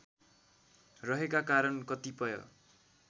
रहेका कारण कतिपय